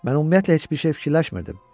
Mən ümumiyyətlə heç bir şey fikirləşmirdim.